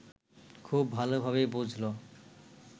খুব ভালোভাবেই বুঝল